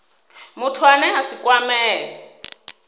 muthu ane a si kwamee